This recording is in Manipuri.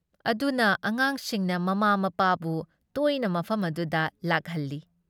ꯑꯗꯨꯅ ꯑꯉꯥꯡꯁꯤꯡꯅ ꯃꯃꯥ ꯃꯄꯥꯕꯨ ꯇꯣꯏꯅ ꯃꯐꯝ ꯑꯗꯨꯗ ꯂꯥꯛꯍꯜꯂꯤ ꯫